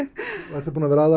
ertu búin að vera að